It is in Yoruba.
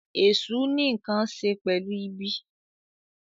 Èsù ní nkán ṣe pẹlu ìbí.